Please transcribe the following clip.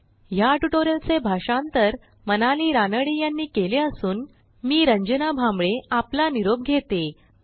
ह्या ट्युटोरियलचे भाषांतर मनाली रानडे यांनी केले असून मी रंजना भांबळे आपला निरोप घेते160